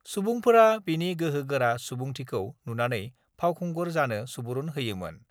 सुबुंफोरा बिनि गोहो गोरा सुबुंथिखौ नुनानै फावखुंगुर जानो सुबुरुन होयोमोन।